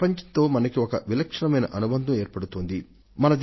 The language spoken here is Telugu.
ప్రపంచంలోని మిగిలిన దేశాలతో మనం ఒక విశిష్ట బంధాన్ని ఏర్పరచుకొంటున్నాం